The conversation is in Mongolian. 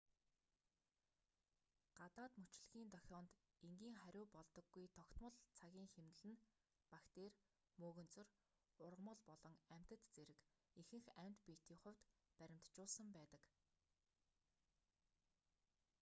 гадаад мөчлөгийн дохионд энгийн хариу болдоггүй тогтмол цагийн хэмнэл нь бактери мөөгөнцөр ургамал болон амьтад зэрэг ихэнх амьд биетийн хувьд баримтжуулсан байдаг